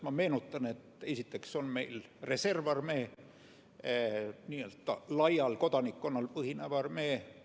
Ma meenutan, et esiteks on meil reservarmee, n-ö laial kodanikkonnal põhinev armee.